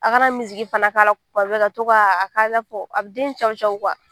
A kana fana k'a la tuma bɛɛ ka to ka a bɛ den cawucawu